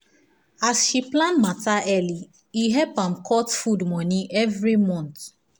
as she plan matter early e help am cut food money every month.